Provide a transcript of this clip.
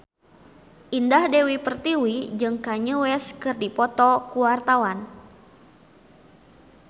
Indah Dewi Pertiwi jeung Kanye West keur dipoto ku wartawan